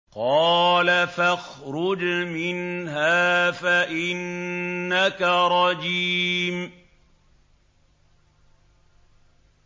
قَالَ فَاخْرُجْ مِنْهَا فَإِنَّكَ رَجِيمٌ